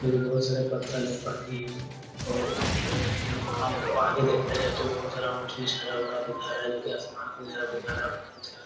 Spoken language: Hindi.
जो की बहुत सारा पत्थर है पानी है और वहाँ आगे देखा जाए तो बहुत सारा ऊंच-नीच हरा - भरा दिखा रहा है जो की आसमान का भी नज़ारा दिखा रहा है बादल छा --